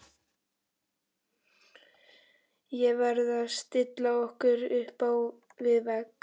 Er verið að stilla okkur upp við vegg?